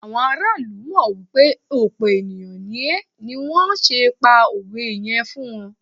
àwọn ará ilu mọ wipe òpe ènìyàn ní é ni wan se pa òwe yẹn fún ọ